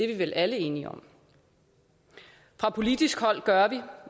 vi vel alle enige om fra politisk hold gør vi